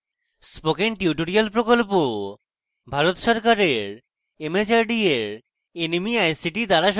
spoken tutorial project Bharat সরকারের mhrd এর nmeict দ্বারা সমর্থিত